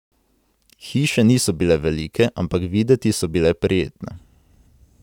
Hiše niso bile velike, ampak videti so bile prijetne.